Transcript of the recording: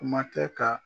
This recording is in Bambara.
Kuma tɛ ka